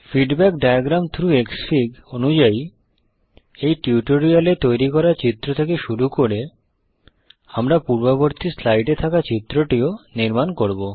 feedback diagram through Xfig অনুযায়ী এই tutorial এ তৈরি করা চিত্র থেকে শুরু করে আমরা পূর্ববর্তী স্লাইড এ থাকা চিত্রটিও নির্মাণ করব